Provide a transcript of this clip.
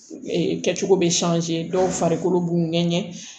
kɛcogo bɛ dɔw farikolo b'u ŋɛɲɛ